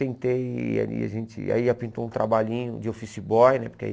Tentei, aí a gente aí já pintou um trabalhinho de office boy, né? Porque aí